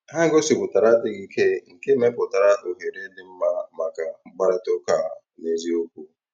Ha gòsíputàra àdì́ghị́ ìké, nkè mepùtàra òhèrè dị́ mma maka mkpáịrịtà ụ́ka n'ézìòkwù.